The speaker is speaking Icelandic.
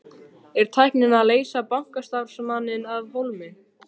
Er tæknin að leysa bankastarfsmanninn af hólmi?